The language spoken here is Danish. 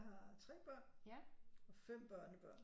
Jeg har 3 børn og 5 børnebørn